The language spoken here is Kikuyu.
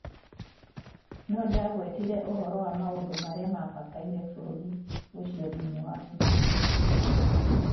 No ndagwetire ũhoro wa maũndũ marĩa mabataire bũrũri ũcio thĩinĩ wa Middle East.